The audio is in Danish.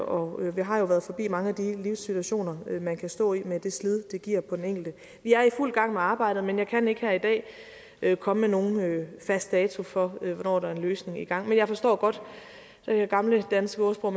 og vi har jo været forbi mange af de livssituationer man kan stå i med det slid det giver på den enkelte vi er i fuld gang med arbejdet men jeg kan ikke her i dag komme med nogen fast dato for hvornår der er en løsning i gang men jeg forstår godt det gamle danske ordsprog